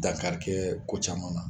Dankarikɛ ko caman na